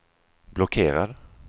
blockerad